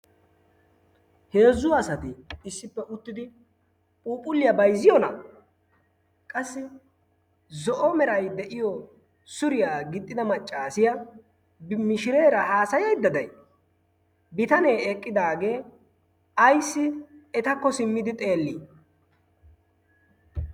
Heezzu asati issippe uttidi phuuphulliya bayizziyoonaa? Qassi zo'o Meray de'iyo suriya gixxida maccaasiya mishireera haasayayidda day? Bitanee eqqidaagee ayissi etakko simmidi xeelli?